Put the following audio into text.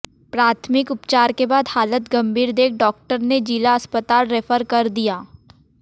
प्राथमिक उपचार के बाद हालत गंभीर देख डॉक्टर ने जिला अस्पताल रेफर कर दिया